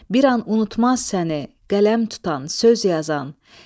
Bir an unutmaz səni, qələm tutan, söz yazan.